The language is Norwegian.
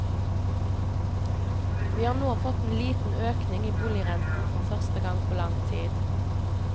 Vi har nå fått en liten økning i boligrenten for første gang på lang tid.